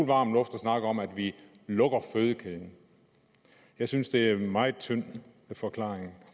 varm luft at snakke om at vi lukker fødekæden jeg synes det er en meget tynd forklaring